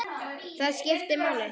Það skipti máli.